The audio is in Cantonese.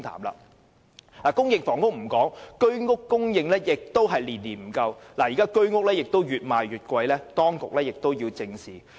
除了公屋，居屋的供應亦是年年不足，而且越賣越貴，當局必須正視這問題。